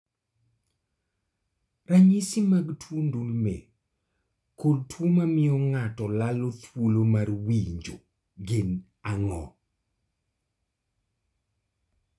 Ranyisi mag tuo ndulme kod tuo mamio ng'ato lalo thuolo mar winjo gin ang'o?